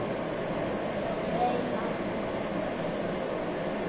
Greinar og mynd